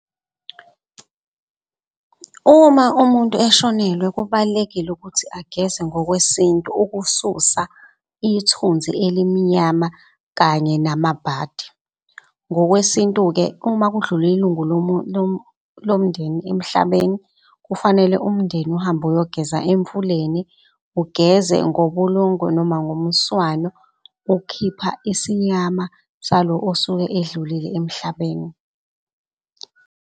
Uma umuntu eshonelwe kubalulekile ukuthi ageze ngokwesintu ukususa ithunzi elimnyama kanye namabhadi. Ngokwesintu-ke, uma kudlule ilungu lomndeni emhlabeni, kufanele umndeni uhambe uyogeza emfuleni, ugeze ngobulongo noma ngomswano. Ukhipha isinyama salo osuke edlulile emhlabeni.